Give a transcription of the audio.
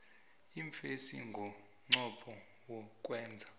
iimfesi ngomnqopho wokwenza